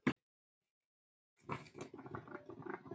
Mundu mig ég man þig.